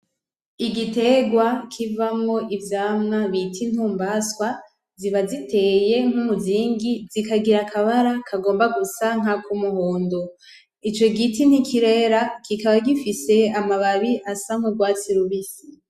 Igiterwa kivamwo ivyamwa bita intumbaswa, ziba ziteye nkumuzingi zigira akabara kagomba gusa nkakumuhondo. Ico giti ntikirera kikaba gifise amababi asa nkurwatsi rubisi .